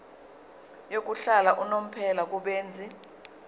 yokuhlala unomphela kubenzi